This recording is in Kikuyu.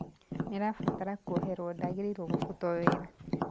Nĩ arabatara kwoherwo –ndagīrīirwo kũbutwo wĩra